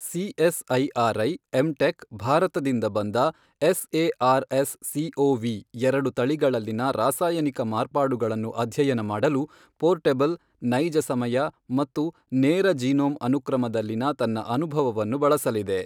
CSIR I M tech ಭಾರತದಿಂದ ಬಂದ S A R S C O V ಎರಡು ತಳಿಗಳಲ್ಲಿನ ರಾಸಾಯನಿಕ ಮಾರ್ಪಾಡುಗಳನ್ನು ಅಧ್ಯಯನ ಮಾಡಲು ಪೋರ್ಟಬಲ್, ನೈಜ ಸಮಯ ಮತ್ತು ನೇರ ಜೀನೋಮ್ ಅನುಕ್ರಮದಲ್ಲಿನ ತನ್ನ ಅನುಭವವನ್ನು ಬಳಸಲಿದೆ.